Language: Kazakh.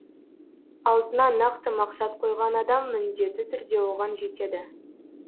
алдына нақты мақсат қойған адам міндетті түрде оған жетеді